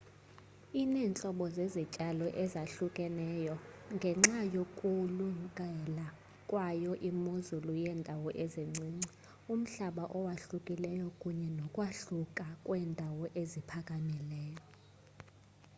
ineentlobo zezityalo ezahlukahlukeneyo ngenxa yokulungela kwayo imozulu yeendawo ezincinci umhlaba owahlukileyo kunye nokwahluka kweendawo eziphakamileyo